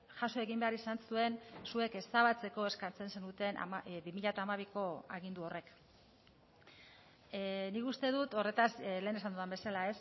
jaso egin behar izan zuen zuek ezabatzeko eskatzen zenuten bi mila hamabiko agindu horrek nik uste dut horretaz lehen esan dudan bezala